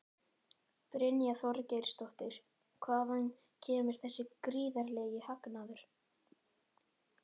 Brynja Þorgeirsdóttir: Hvaðan kemur þessi gríðarlegi hagnaður?